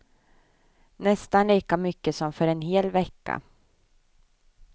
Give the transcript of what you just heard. Nästan lika mycket som för en hel vecka.